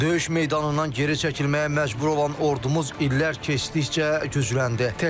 Döyüş meydanından geri çəkilməyə məcbur olan ordumuz illər keçdikcə gücləndi.